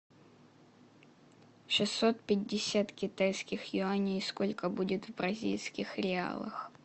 шестьсот пятьдесят китайских юаней сколько будет в бразильских реалах